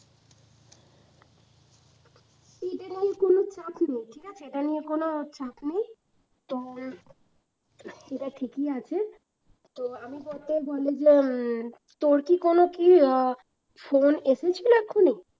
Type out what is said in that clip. ঠিক আছে কোনো চাপ নেই তোর কি কোনো কি আহ phone এসেছিলো এক্ষুনি?